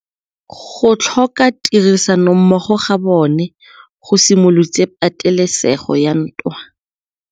Go tlhoka tirsanommogo ga bone go simolotse patêlêsêgô ya ntwa.